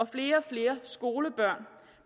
flere og flere skolebørn